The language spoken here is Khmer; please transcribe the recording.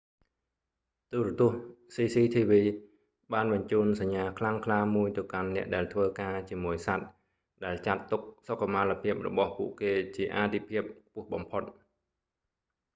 ទូរទស្សន៍ cctv បានបញ្ជូនសញ្ញាខ្លាំងក្លាមួយទៅកាន់អ្នកដែលធ្វើការជាមួយសត្វ ដែលចាត់ទុកសុខុមាលភាពរបស់ពួកគេជាអាទិភាពខ្ពស់បំផុត